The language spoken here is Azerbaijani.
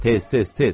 Tez, tez, tez!